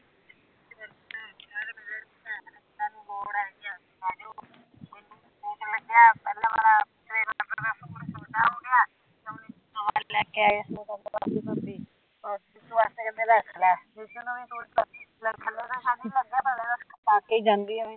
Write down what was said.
ਪਾ ਕੇ ਹੀਂ ਜਾਂਦੀ ਅਵੈ